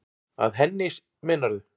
Að henni, meinarðu?